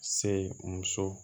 Se muso